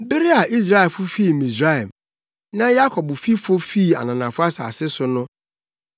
Bere a Israelfo fii Misraim, na Yakobfifo fii ananafo asase so no,